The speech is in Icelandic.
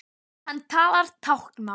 Hann talar táknmál.